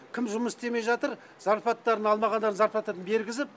кім жұмыс істемей жатыр зарпалаттарын алмағандар зарплатаны бергізіп